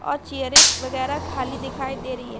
और चेयरें वगैरा खाली दिखाई दे रही है ।